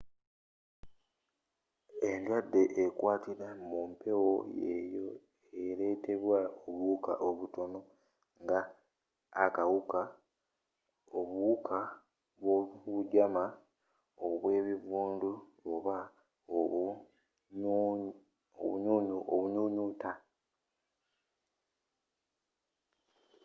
endwadde ekwatira mumpeewo yeeyo ereteebwa obuwuuka obutono nga akawuka obuwuka bwobujama obwebivundu oba obunyuunyuuta